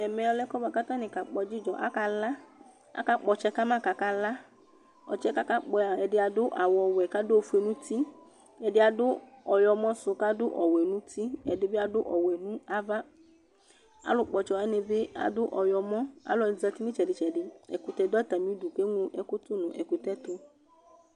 ɛmɛlɛ ɛfuɛdɩ kʊ alʊ kadʊ ɛdɩ kʊ akapɔ ɔtsɛ kʊ akala, alʊwanɩ kakpɔ ɔtsɛ yɛ adʊ awuwɛ kʊ adʊ ofue nʊ uti, ɛdɩbɩ adʊ ɛku ɔɣlɔmɔ nava nʊc ɔwɛ nuti, alʊ kpɔ ɔtsɛwanɩbɩ adʊ awu ɔwlɔmɔ, ɛkʊtɛ dɩ dʊ atamidu kʊ eɣlo ɛkʊ tu nʊ ɛkutɛ yɛtu